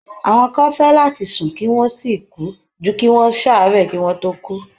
Àwọn kan fẹ́ láti sùn kí wọ́n sì kú ju kí wọ́n ṣààárẹ̀ kí wọ́n tó kú.